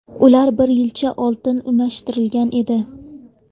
Ular bir yilcha oldin unashtirilgan edi.